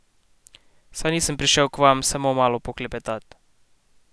Saj nisem prišel k vam samo malo poklepetat.